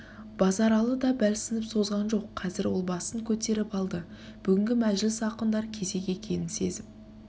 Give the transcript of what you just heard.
базаралы да бәлсініп созған жоқ қазір ол басын көтеріп алды бүгінгі мәжіліс ақындар кезегі екенін сезіп